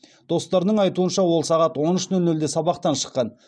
достарының айтуынша ол сағат он үш нөл нөлде сабақтан шыққан